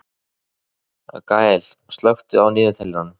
Gael, slökktu á niðurteljaranum.